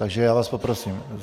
Takže já vás poprosím.